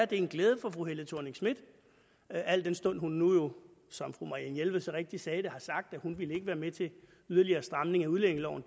det er en glæde for fru helle thorning schmidt al den stund at hun jo som fru marianne jelved så rigtigt sagde det har sagt at hun ikke ville være med til yderligere stramninger i udlændingeloven